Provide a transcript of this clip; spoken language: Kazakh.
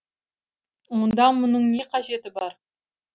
онда мұның не қажеті бар